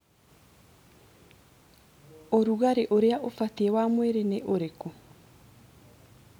Ũrugarĩ ũrĩa ũbatiĩ wa mwĩrĩ nĩ ũrĩkũ?